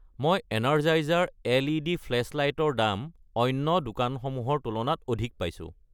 মই Energizer LED. Flashlight ৰ দাম অন্য দোকানসমূহৰ তুলনাত অধিক পাইছোঁ।